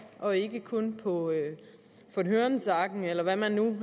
og ikke kun på von hørensagen eller hvad man nu